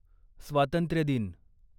स्वातंत्र्य दिन